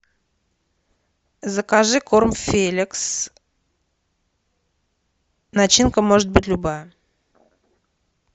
закажи корм феликс начинка может быть любая